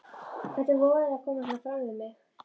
Hvernig vogarðu þér að koma svona fram við mig!